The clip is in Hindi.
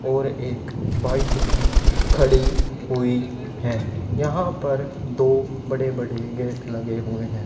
और एक बाइक भी खड़ी हुई है यहां पर दो बड़े बड़े गेट लगे हुए हैं।